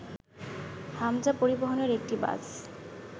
হামজা পরিবহনের একটি বাস